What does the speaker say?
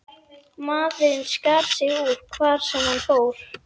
Maðurinn skar sig úr, hvar sem hann fór.